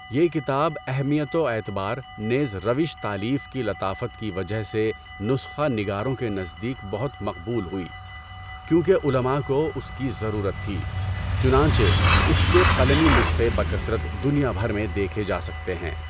یہ کتاب اہمیت و اعتبار نیز روش تالیف کی لطافت کی وجہ سے نسخہ نگاروں کے نزدیک بہت مقبول ہوئی کیونکہ علماء کو اس کی ضرورت تھی، چنانچہ اس کے قلمی نسخے بکثرت دنیا بھر میں دیکھے جاسکتے ہیں۔